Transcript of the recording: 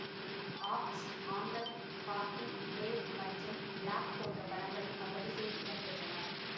அக்ஸ் ஆங்கன் காக்கி தேவ் மற்றும் பிளாக் போன்ற படங்கள் அவ்வரிசையில் இடம்பெற்றன